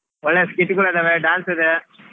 ಒಳ್ಳೆ skit ಗಳು ಅದವೇ dance ಅದೆ.